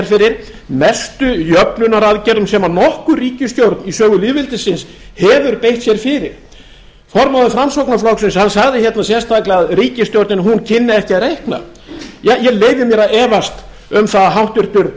fyrir mestu jöfnunaraðgerðum sem nokkur ríkisstjórn í sögu lýðveldisins hefur beitt sér fyrir formaður framsóknarflokksins sagði hérna sérstaklega að ríkisstjórnin kynni ekki að reikna ja ég leyfi mér að efast um að háttvirtur